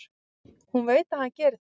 Hún veit að hann gerir það.